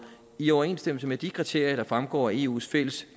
i overensstemmelse med de kriterier der fremgår af eus fælles